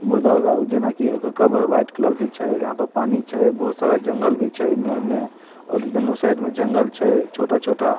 मुर्दा वाला उ जेना की ओकर कबर वाइट कलर के छै एहाँ पर पानी छै बहुत सारा जंगल भी छै एने-उने और दुनो साइड में जंगल छै छोटा-छोटा।